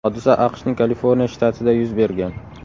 Hodisa AQShning Kaliforniya shtatida yuz bergan.